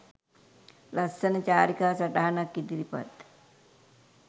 ලස්සන චාරිකා සටහනක් ඉදිරිපත්